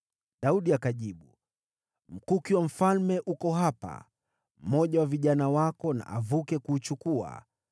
Daudi akajibu, “Mkuki wa mfalme uko hapa. Mmoja wa vijana wako na avuke kuuchukua.